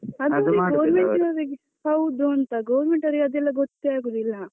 ಅದುವೇ government ನವರಿಗೆ ಹೌದುಂತಾ, government ಅವರಿಗೆ ಅದೆಲ್ಲಾ ಗೊತ್ತೇ ಆಗುದಿಲ್ಲ.